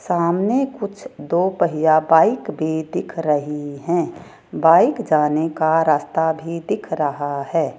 सामने कुछ दो पहिया बाइक भी दिख रही है बाइक जाने का रास्ता भी दिख रहा है।